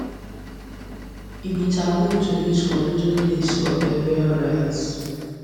e be taboo to use forbidden leaves for burial rites